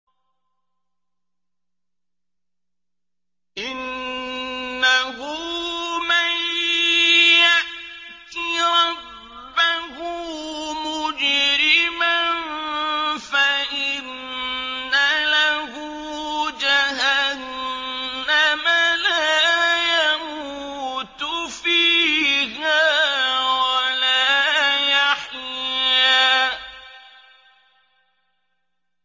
إِنَّهُ مَن يَأْتِ رَبَّهُ مُجْرِمًا فَإِنَّ لَهُ جَهَنَّمَ لَا يَمُوتُ فِيهَا وَلَا يَحْيَىٰ